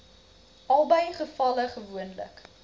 albei gevalle gewoonlik